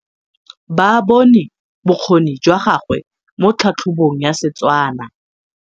Ba bone bokgoni jwa gagwe mo tlhatlhobong ya Setswana.